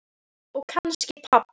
Og kannski pabba.